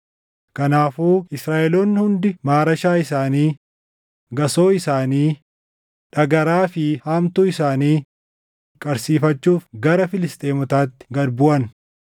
Kanaafuu Israaʼeloonni hundi maarashaa isaanii, gasoo isaanii, dhagaraa fi haamtuu isaanii qarsiifachuuf gara Filisxeemotaatti gad buʼan.